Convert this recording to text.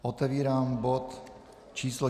Otevírám bod číslo